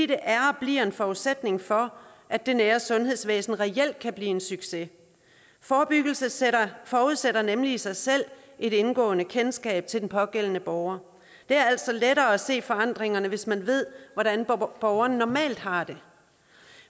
det er og bliver en forudsætning for at det nære sundhedsvæsen reelt kan blive en succes forebyggelse forudsætter nemlig i sig selv et indgående kendskab til den pågældende borger det er altså lettere at se forandringerne hvis man ved hvordan borgeren normalt har det